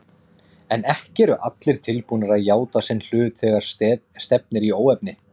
En ekki eru allir tilbúnir að játa sinn hlut þegar stefnir í óefni.